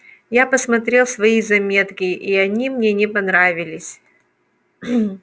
я посмотрел свои заметки и они мне не понравились